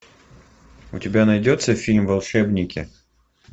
у тебя найдется фильм волшебники